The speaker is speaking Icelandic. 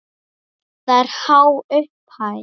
Það er há upphæð.